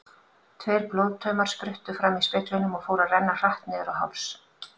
Tveir blóðtaumar spruttu fram í speglinum og fóru að renna hratt niður á háls.